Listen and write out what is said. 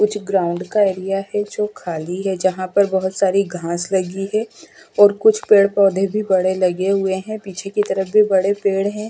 कुछ ग्राउंड का एरिया है जो खाली है यहां पर बहुत सारी घास लगी है और कुछ पेड़ पौधे भी बड़े लगे हुए हैं पीछे की तरफ भी बड़े पेड़ हैं।